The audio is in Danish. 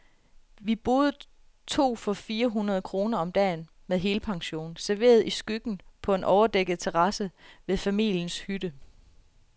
Vi boede to for fire hundrede kroner om dagen, med helpension, serveret i skyggen på en overdækket terrasse ved familiens hytte.